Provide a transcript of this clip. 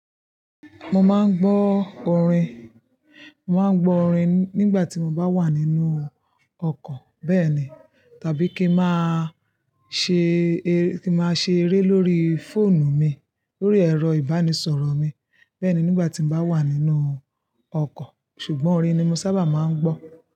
Mo máa ń gbọ́ orin, mo máa ń gbọ́ orin nígbà tí mo bá wà nínú ọkọ̀ bẹ́ẹ̀ni tàbí kí máa ṣe, kí máa ṣe eré lórí fóònù mi, lórí ẹ̀rọ ìbánisọ̀rọ̀ mi. Bẹ́ẹ̀ ni nígbà tí mo bá wà nínú ọkọ̀. Ṣùgbọ́n orin ni mo sábà máa ń gbọ́